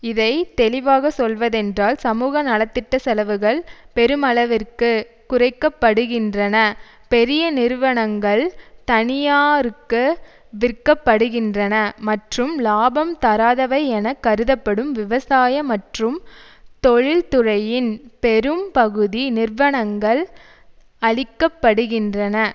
இதை தெளிவாக சொல்வதென்றால் சமூக நல திட்ட செலவுகள் பெருமளவிற்கு குறைக்க படுகின்றன பெரிய நிறுவனங்கள் தனியாருக்கு விற்க படுகின்றன மற்றும் இலாபம் தராதவை என கருதப்படும் விவசாய மற்றும் தொழில்துறையின் பெரும் பகுதி நிறுவனங்கள் அழிக்கப்படுகின்றன